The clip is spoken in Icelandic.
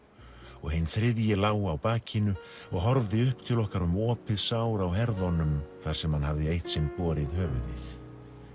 og hinn þriðji lá á bakinu og horfði upp til okkar um opið sár á herðunum þar sem hann hafði eitt sinn borið höfuðið